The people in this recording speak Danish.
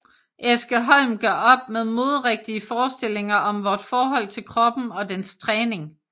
Eske Holm gør op med moderigtige forestillinger om vort forhold til kroppen og dens træning